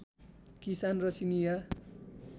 किसान र चिनियाँ